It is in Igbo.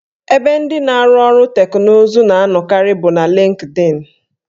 Ebe ndị na-arụ ọrụ teknụzụ na anọkarị bụ na Lịnkdịn